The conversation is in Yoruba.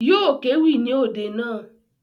Yóò kéwì ní òde naa